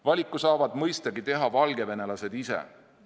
Valiku saavad mõistagi teha valgevenelased ise.